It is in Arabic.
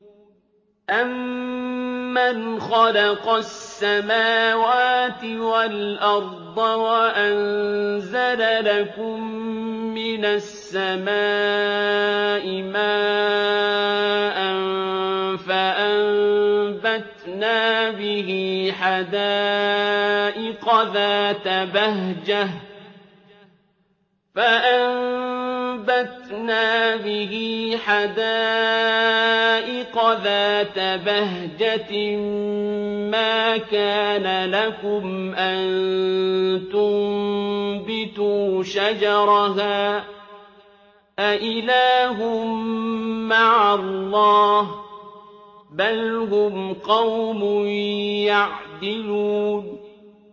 أَمَّنْ خَلَقَ السَّمَاوَاتِ وَالْأَرْضَ وَأَنزَلَ لَكُم مِّنَ السَّمَاءِ مَاءً فَأَنبَتْنَا بِهِ حَدَائِقَ ذَاتَ بَهْجَةٍ مَّا كَانَ لَكُمْ أَن تُنبِتُوا شَجَرَهَا ۗ أَإِلَٰهٌ مَّعَ اللَّهِ ۚ بَلْ هُمْ قَوْمٌ يَعْدِلُونَ